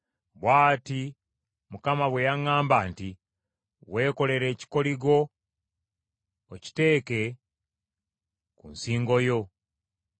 Bw’ati Mukama bwe yaŋŋamba nti: “Weekolere ekikoligo okiteeke ku nsingo yo,